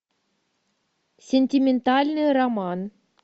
сентиментальный роман